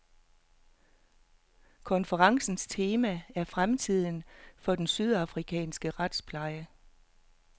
Konferencens tema er fremtiden for den sydafrikanske retspleje.